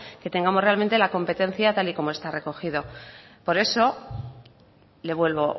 que tengamos realmente la competencia tal y como está recogido por eso le vuelvo